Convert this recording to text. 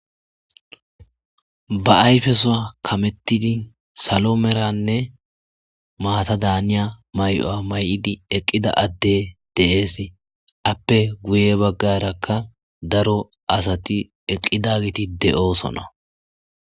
ba ayfesoa kamettidi salo meranne maata daaniya may7oa may7idi eqqida adde deees appe guye baggarakka daro asati eqqida giti de7oosona